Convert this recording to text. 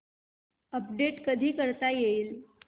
update कधी करता येईल